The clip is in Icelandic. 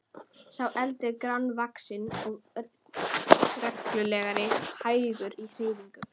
Sá eldri grannvaxinn og renglulegur og hægur í hreyfingum.